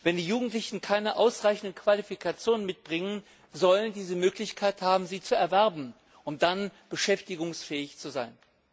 Wenn die Jugendlichen keine ausreichenden Qualifikationen mitbringen, sollen sie die Möglichkeit haben, sie zu erwerben, um dann beschäftigungsfähig zu sein.